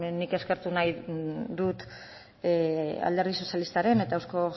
nik eskertu nahi dut alderdi sozialistaren eta euzko